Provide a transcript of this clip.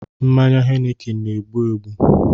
Mmanya heineken na-egbu egbu